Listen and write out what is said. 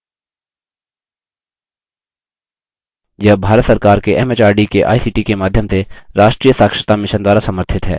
यह भारत सरकार के एमएचआरडी के आईसीटी के माध्यम से राष्ट्रीय साक्षरता mission द्वारा समर्थित है